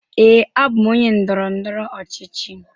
Ee, abụm onye ndọrọ ndọrọ ọchịchị.